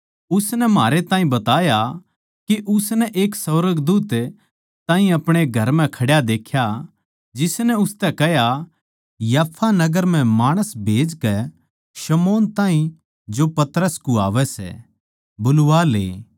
उसनै म्हारै ताहीं बताया के उसनै एक सुर्गदूत ताहीं अपणे घर म्ह खड्या देख्या जिसनै उसतै कह्या याफा नगर म्ह माणस खन्दाकै शमौन ताहीं जो पतरस कुह्वावै सै बुलवा ले